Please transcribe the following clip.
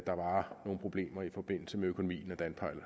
der var nogle problemer i forbindelse med økonomien